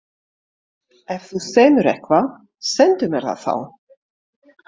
Ef þú semur eitthvað, sendu mér það þá.